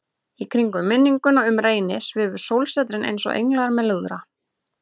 Í kringum minninguna um Reyni svifu sólsetrin einsog englar með lúðra.